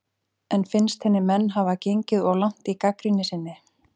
En finnst henni menn hafa gengið of langt í gagnrýni sinni?